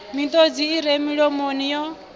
miṱodzi i re milomo yo